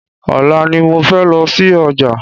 Ọ̀la ni mo fẹ́ lọ sí ọjà